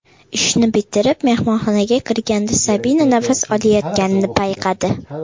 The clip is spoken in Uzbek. Ishni bitirib, mehmonxonaga kirganda Sabina nafas olayotganini payqadi.